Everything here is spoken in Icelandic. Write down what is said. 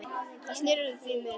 Það geri ég því miður stundum.